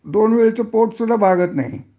दोन वेळेच पोट सुद्धा भागत नाही